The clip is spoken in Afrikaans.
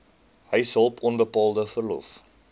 huishulp onbetaalde verlof